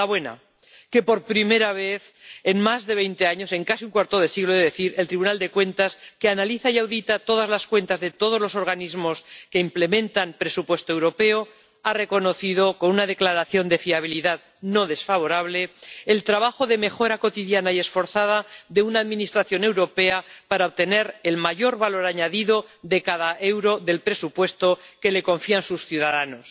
La buena que, por primera vez en más de veinte años —en casi un cuarto de siglo, he de decir—, el Tribunal de Cuentas, que analiza y audita todas las cuentas de todos los organismos que implementan presupuesto europeo, ha reconocido —con una declaración de fiabilidad no desfavorable— el trabajo de mejora cotidiana y esforzada de una Administración europea para obtener el mayor valor añadido de cada euro del presupuesto que le confían sus ciudadanos.